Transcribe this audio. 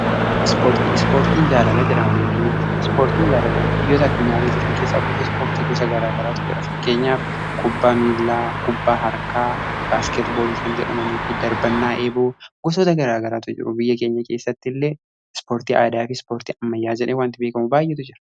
ispoortii, ispoortiin jaalala jedhama biyya kenya keessatti ispoortiin jaalala biyyoota addunyaarra jiran keessaa gosoota ispoortii gosa garaa garaatu jira fakkeenyaaf kubbaa miilaa kubbaa harkaa baaskeet boolii kan jedhamanii fi darbannaa eeboo gosoota garaa garaatu jiru biyya keenya keessatti illee ispoortii aadaa fi ispoortii ammayaa jedhamee wanti beekamuu baay'eetu jira.